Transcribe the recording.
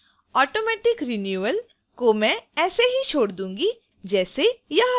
automatic renewal को मैं ऐसे ही छोड़ दूंगी जैसे यह है